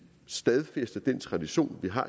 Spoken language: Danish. stadfæster den tradition vi har